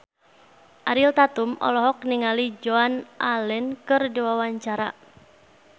Ariel Tatum olohok ningali Joan Allen keur diwawancara